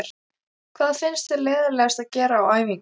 Hvað finnst þér leiðinlegast að gera á æfingum?